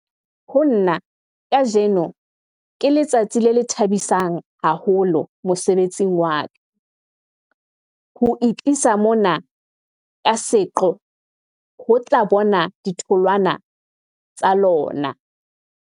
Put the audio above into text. "Ho nna, kajeno ke letsatsi le thabisang haholo mosebetsing wa ka, ho itlisa mona ka seqo ho tla bona ditholwana tsa lona."